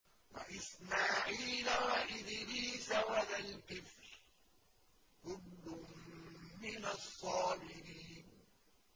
وَإِسْمَاعِيلَ وَإِدْرِيسَ وَذَا الْكِفْلِ ۖ كُلٌّ مِّنَ الصَّابِرِينَ